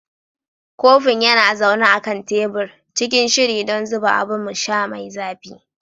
Kofin yana zaune a kan tebur, cikin shiri don zuba abun sha mai zafi.